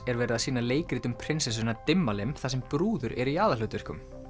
er verið að sýna leikrit um prinsessuna Dimmalimm þar sem brúður eru í aðalhlutverkum